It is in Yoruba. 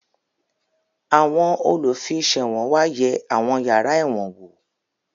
Àwọn olùfiṣẹ̀wọ̀n wá yẹ àwọn yàrá ẹ̀wọ̀n wò